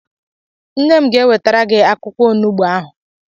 Nne m ga-ewetara gị akwụkwọ onugbu ahụ